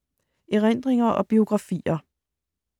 Erindringer og biografier